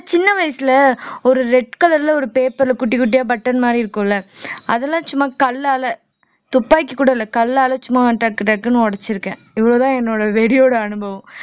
சின்ன வயசுல ஒரு red color ல ஒரு paper ல குட்டி குட்டியா button மாதிரி இருக்கும்ல அதெல்லாம் சும்மா கல்லால துப்பாக்கி கூட இல்ல கல்லால சும்மா டக்குன்னு உடைச்சிருக்கேன் இவ்வளவுதான் என்னோட வெறியோட அனுபவம்